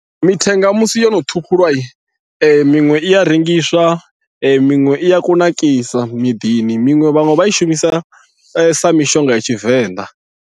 Mithenga musi yono ṱhukhulwa miṅwe i ya rengiswa miṅwe i ya kunakisa miḓini miṅwe vhaṅwe vha ishumisa sa mishonga ya tshivenḓa.